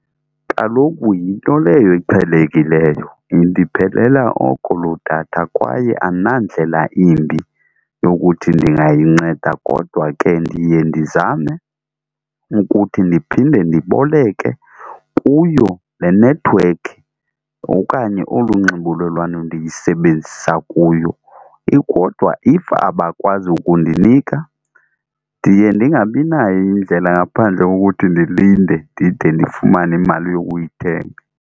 Kaloku yinto leyo eqhelekileyo indiphelela oko loo datha kwaye andinandlela imbi yokuthi ndingayinceda kodwa ke ndiye ndizame ukuthi ndiphinde ndiboleke kuyo le nethiwekhi okanye olu nxibelelwano ndiyisebenzisa kuyo. Kodwa if abakwazi ukundinika ndiye ndingabi nayo indlela ngaphandle kokuthi ndilinde ndide ndifumane imali yokuyithenga.